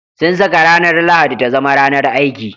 Sun saka ranar Lahadi ta zama ranar aiki.